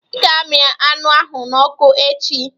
I ga amị anụ ahụ n'ọkụ echi?